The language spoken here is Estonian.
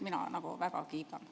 Mina väga kiidan.